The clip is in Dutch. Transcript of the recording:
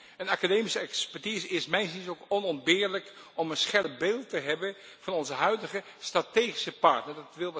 Een academische expertise is mijns inziens ook onontbeerlijk om een scherp beeld te krijgen van onze huidige strategische partner.